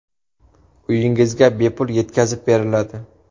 Uyingizga bepul yetkazib beriladi!.